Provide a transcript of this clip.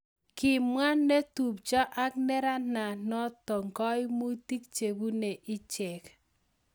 Kimwaa netupchoo ak nerananotok kaimutik chebune icheek